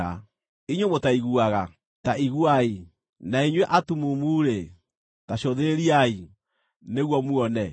“Inyuĩ mũtaiguaga, ta iguai, na inyuĩ atumumu-rĩ, ta cũthĩrĩriai, nĩguo muone!